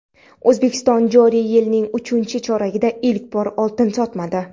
O‘zbekiston joriy yilning uchinchi choragida ilk bor oltin sotmadi.